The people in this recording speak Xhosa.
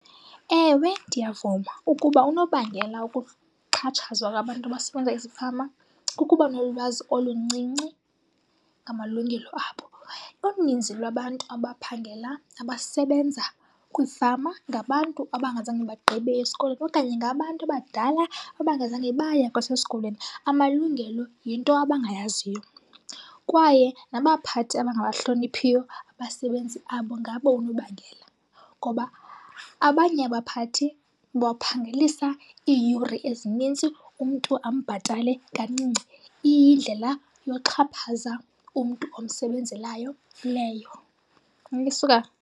Ewe, ndiyavuma ukuba unobangela wokuxhatshazwa kwabantu abasebenza ezifama kukuba nolwazi oluncinci ngamalungelo abo. Uninzi lwabantu abaphangela nabasebenza kwiifama ngabantu abangazange bagqibe esikolweni okanye ngabantu abadala abangazange baya kwasesikolweni. amalungelo yinto abangayaziyo. Kwaye nabaphathi abangabahloniphiyo abasebenzi babo ngabo unobangela. Ngoba abanye abaphathi baphangelisa iiyure ezinintsi, umntu ambhatale kancinci iyindlela yoxhaphaza umntu omsebenzelayo leyo .